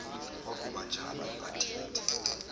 kwakuba njalo athetha